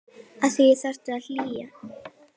Að því þarf að hlúa.